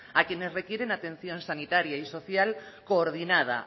a quienes requieren atención sanitaria y social coordinada